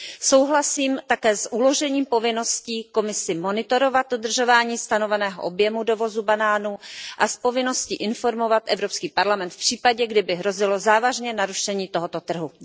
Souhlasím také s uložením povinnosti Komisi monitorovat dodržování stanoveného objemu dovozu banánů a s povinností informovat Evropský parlament v případě, kdyby hrozilo závažné narušení tohoto trhu.